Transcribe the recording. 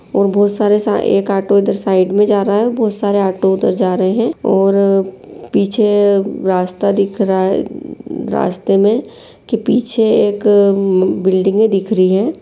और बहुत सारा सा एक ऑटो इधर उधर साइड में जा रहा है बहुत सारा ऑटो उधर जा रहे है और पीछे रास्ता दिख रहा है रास्ते में के पीछे एक ऍम एम एक बिल्डिंगे दिख रही है ।